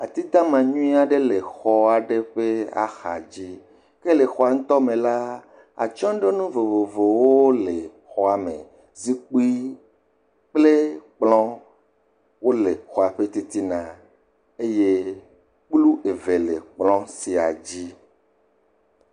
Atidama aɖe le xɔ aɖe ƒe axadzi. Ke le xɔa me la, atsyɔ̃ɖonu vovovowo le ɔz me. Zikpi kple kplɔ̃ wole xɔa ƒe titina eye kplu eve le xɔ sia dzi.